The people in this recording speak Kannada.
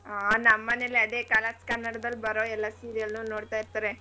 ಹಾ ನಮ್ ಮನೇಲಿ ಅದೇ colors ಕನ್ನಡದಲ್ ಬರೋ ಎಲ್ಲ serial ಉ ನೋಡ್ತಾಇರ್ತಾರೆ.